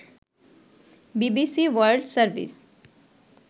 BBC world service